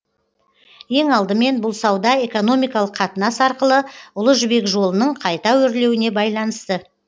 ең алдымен бұл сауда экономикалық қатынас арқылы ұлы жібек жолының қайта өрлеуіне байланысты